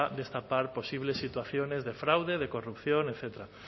destapar posibles situaciones de fraude corrupción etcétera